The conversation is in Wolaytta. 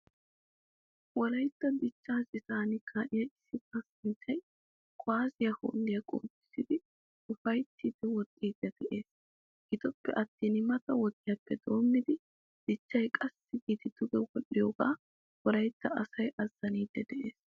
Wolaytta dichcha citan ka'iyaa issi kasanchchay kuwasiya holiyaa qoodisidi ufayttidi woxxidi de'ees. Giddoppe attin mata wodiyappe doommidi dichchay qassi giidi duge wodhdhiyoga wolaytta asay azzanaidi de'ees.